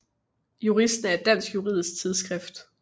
Juristen er et dansk juridisk tidsskrift